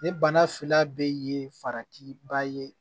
Ni bana fila bɛ ye farati ba ye